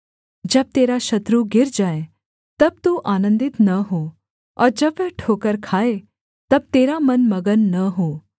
जब तेरा शत्रु गिर जाए तब तू आनन्दित न हो और जब वह ठोकर खाए तब तेरा मन मगन न हो